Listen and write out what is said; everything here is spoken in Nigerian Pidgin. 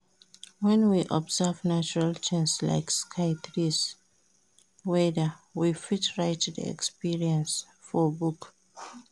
When we observe natural things like sky, trees, weather we fit write di experience for book